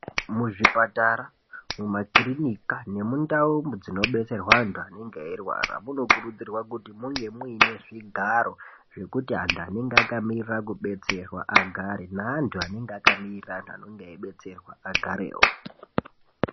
Muzvipatara mumakirinika nemundau dzinobetserwe antu anenga eirwara munokurudzirwa kuti munge muine zvigaro zvekuti antu anenga akamirire kudetserwa agare naantu anenga akamirira antu anenga eibetserwa agarewo.